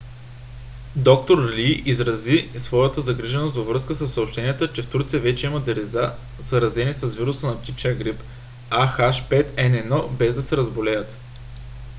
д-р лий изрази и своята загриженост във връзка със съобщенията че в турция вече има деца заразени с вируса на птичия грип ah5n1 без да се разболеят